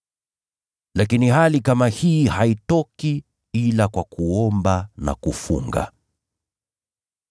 Lakini hali kama hii haitoki ila kwa kuomba na kufunga.]”